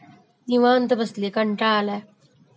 निवांत बसलिय, कंटाळा आलाय